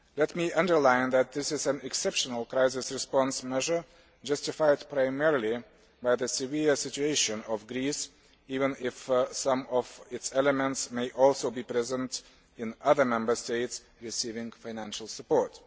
Let me underline that this is an exceptional crisis response measure, justified primarily by the severe situation of Greece, even if some of its elements may also be present in other Member States receiving financial support.